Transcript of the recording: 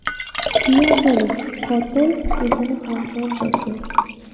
Keyinchalik qotil o‘zini ham o‘ldirdi.